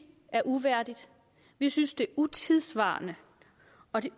er uværdigt vi synes det er utidssvarende og